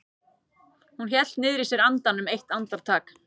Hún hélt niðri í sér andanum eitt andartak.